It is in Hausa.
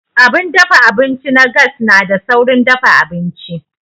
Abun dafa abinci na gas na da saurin dafa abinci.